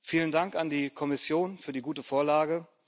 Vielen Dank an die Kommission für die gute Vorlage.